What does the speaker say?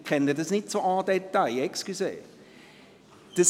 ich kenne das Thema nicht en détail, entschuldigen Sie.